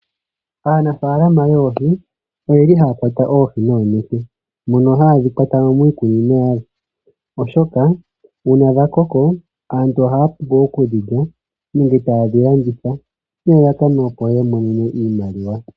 Aanafalama yoohi oyeli haya kwata oohi noonete. Mono haadhi kwatamo miikunino yadho, oshoka una dha koko aantu ohaya vulu oku dhilya nenge tayedhi landitha nelalakano opo ya mone iimaliwa.